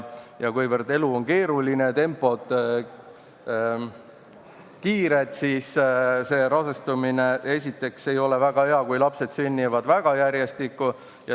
Kuivõrd elu on keeruline ja tempo kiire, siis esiteks ei ole väga hea, kui rasestumine toimub ja lapsed sünnivad väga järjestikku.